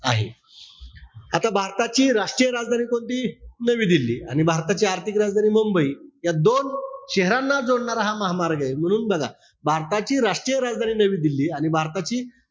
आहे. आता भारताची राष्ट्रीय राजधानी कोणती होती? नवी दिल्ली. आणि भारताची आर्थिक राजधानी मुंबई, या दोन शहरांना जोडणारा हा महामार्ग ए. म्हणून बघा, भारताची राष्ट्रीय राजधानी नवी दिल्ली आणि भारताची,